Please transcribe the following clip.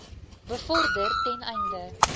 bevorder ten einde